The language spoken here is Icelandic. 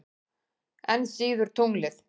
Enn síður tunglið.